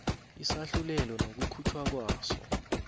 isahlulelo nokukhutjhwa kwaso